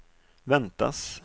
väntas